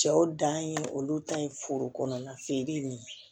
Cɛw dan ye olu ta ye foro kɔnɔna feere ye